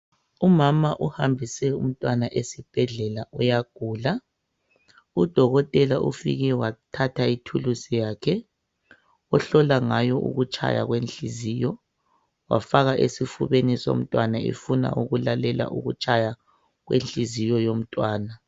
Umama uhambise umntwana esibhedlela uyagula. Udokotela ufike wathatha ithuluzi yakhe ahlola ngayo ukutshaya kwenhliziyo wafaka esifubeni somntwana efuna ukuhlola ukutshaya kwenhliziyo yomntwana.